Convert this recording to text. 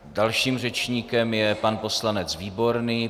Dalším řečníkem je pan poslanec Výborný.